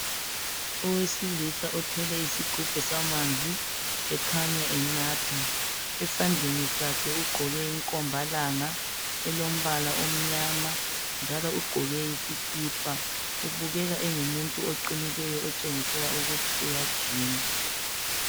Owesilisa othwele isigubhu samanzi ekhanya enatha esandleni sakhe ugqoke inkombalanga elombala omnyama njalo ugqoke isikipa ubukeka engumuntu oqinileyo otshengisela ukuthi uyajima.